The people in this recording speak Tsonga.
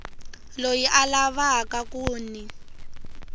loyi a lavaka ku n